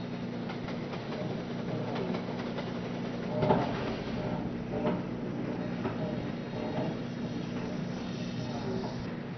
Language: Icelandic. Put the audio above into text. Kristján: Og það gæti jafnvel gerst um helgina?